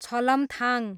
छलमथाङ